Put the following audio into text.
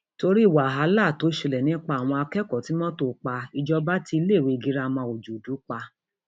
torí wàhálà tó ṣẹlẹ nípa àwọn akẹkọọ tí mọtò pa ìjọba ti iléèwé girama ọjọdù pa